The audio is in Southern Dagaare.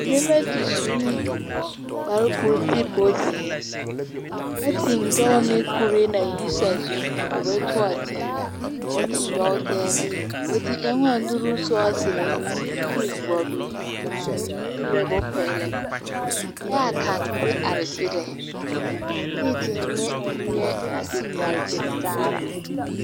Nebɛ te su ne kpar ko te bonzeer. Ɛ te nyɔɔ ne kure na yi sazu meŋ a bɛ tɔ a teŋaa bɛ te nyɔɔ tɛɛlɛ. Bɛ te ɛoŋaa nuru sɔɔserɛ, ɛ te vɔble zupelɛ bompɛlɛ. Ɛa kão te are gyerɛ. Eeŋ te nyɛ mie naŋ gaŋgyere taara.